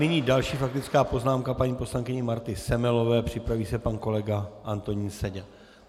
Nyní další faktická poznámka paní poslankyně Marty Semelové, připraví se pan kolega Antonín Seďa.